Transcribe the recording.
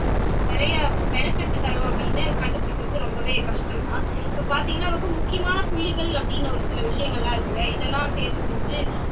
நிறைய அப்படின்னு கண்டுபிடிக்கிறது ரொம்பவே கஷ்டம்தான் இப்ப பாத்தீங்கன்னா ரொம்ப முக்கியமான புள்ளிகள் அப்படின்னு ஒரு சில விஷயங்கள்லாம் இருக்கு இல்லையா இதெல்லாம் தேர்வு செஞ்சு